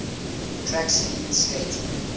track speed skating